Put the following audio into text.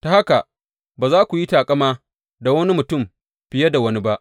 Ta haka, ba za ku yi taƙama da wani mutum fiye da wani ba.